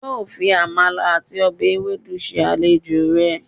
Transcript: yóó fi Amala àti ọbẹ̀ ewedu se àlejò rẹ̀.